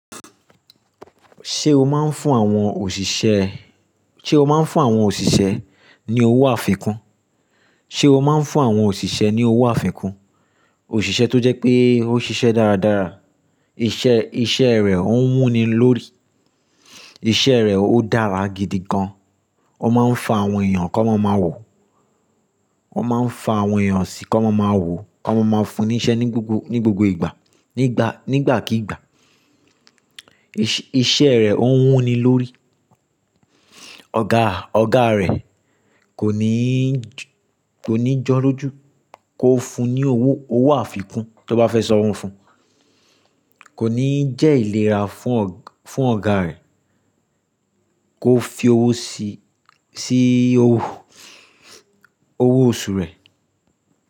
Ṣé o máa ń fún àwọn òṣìṣẹ́, ṣe o máa ń fún àwọn òṣìṣẹ́ ní owó àfikún? Ṣé o máa ń fún àwọn òṣìṣẹ́ ní owó àfikún? Òṣìṣẹ́ tó jẹ́ pé ó ṣiṣẹ́ dáradára, iṣẹ́, iṣẹ́ rẹ̀ ó ń wuni lórí, iṣẹ́ rẹ̀ ó dára gidi gan. Ó máa ń fa àwọn èèyàn kó máa ma wò. Ó máa ń fa àwọn èèyàn síí kó máa ma wò, kó máa ma fún ní iṣẹ́ ní gbogbo, ní gbogbo ìgbà, ní ìgbà, nígbàkígbà. Iṣẹ́, iṣẹ́ rẹ̀ ó ń wuni lórí. Ọ̀gá, ọ̀gá rẹ̀ kò ní, kò ní jọ́lọ́jú kò fun ní owó, owó àfikún tó bá fẹ́ sàn owó fún. Kò ní jẹ́ ìlera fún ọ̀gá rẹ̀, kó fi owó sí, sí owó oṣù rẹ̀